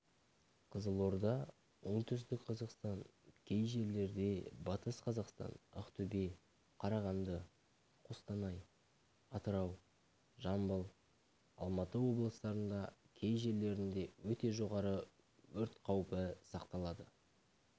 қызылорда оңтүстік-қазақстан кей жерлерде батыс-қазақстан ақтөбе қарағанды қостанай атырау жамбыл алматы облыстарында кей жерлерінде өте жоғары өрт қаупі сақталады